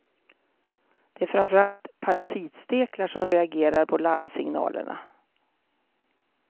Det är framför allt parasitsteklar som reagerar på larmsignalerna.